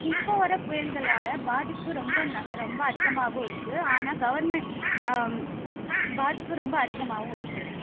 இப்போ வர புயல்களால பாதிப்பு ரொம்ப ரொம்ப அதிகமாகவும் இருக்கு. ஆனால் government ஹம் பாதிப்பு ரொம்ப அதிகமாகவும் இருக்கு.